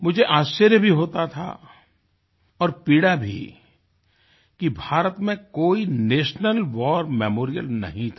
मुझे आश्चर्य भी होता था और पीड़ा भी कि भारत में कोई नेशनल वार मेमोरियल नहीं था